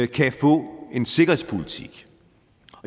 kan få en sikkerhedspolitik